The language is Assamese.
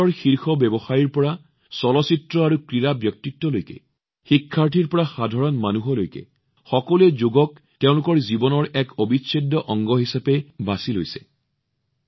বিশ্বৰ শীৰ্ষ ব্যৱসায়িক ব্যক্তিৰ পৰা চলচ্চিত্ৰ আৰু ক্ৰীড়া ব্যক্তিত্বলৈকে শিক্ষাৰ্থীৰ পৰা সাধাৰণ মানুহলৈকে সকলোৱে যোগক তেওঁলোকৰ জীৱনৰ এক অবিচ্ছেদ্য অংগ কৰি তুলিছে